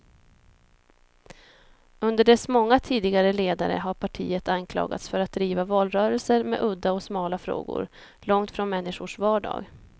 Under dess många tidigare ledare har partiet anklagats för att driva valrörelser med udda och smala frågor, långt från människors vardag.